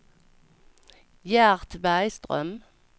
Gert Bergström